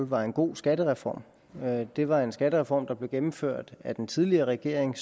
var en god skattereform det var en skattereform der blev gennemført af den tidligere regering